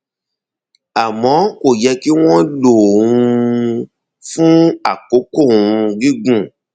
àmọ kò yẹ kí wọn lò um ó fún àkókò um gígùn